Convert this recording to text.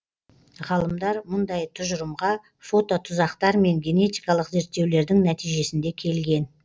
ғалымдар мұндай тұжырымға фототұзақтар мен генетикалық зерттеулердің нәтижесінде келген